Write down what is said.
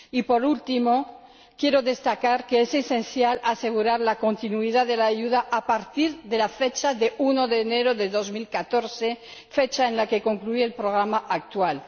Por último, quiero destacar que es esencial asegurar la continuidad de la ayuda a partir del 1 de enero de 2014, fecha en la que concluye el programa actual.